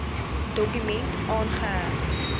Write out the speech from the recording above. dokument aangeheg